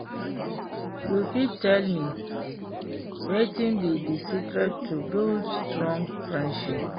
you fit tell me wetin be di secret to build strong friendship?